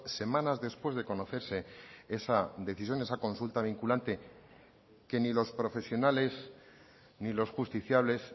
semanas después de conocerse esa decisión esa consulta vinculante que ni los profesionales ni los justiciables